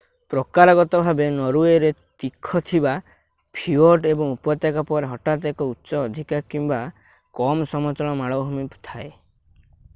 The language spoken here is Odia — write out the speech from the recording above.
ପ୍ରକାରଗତ ଭାବେ ନରୱେରେ ତୀଖ ଥିବା ଫିଓର୍ଡ ଏବଂ ଉପତ୍ୟକା ପରେ ହଠାତ୍ ଏକ ଉଚ୍ଚ ଅଧିକ କିମ୍ବା କମ୍ ସମତଳ ମାଳଭୂମି ଥାଏ